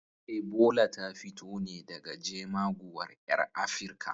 Ebola ta fito ne daga jemaguwar ƴar Afirka.